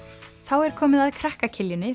er komið að krakka